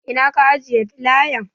Ina ka ajiye filayan?